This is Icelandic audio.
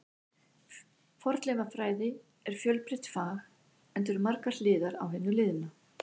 Fornleifafræði er fjölbreytt fag, enda eru margar hliðar á hinu liðna.